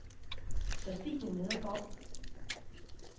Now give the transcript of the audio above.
Kristine Nedergaard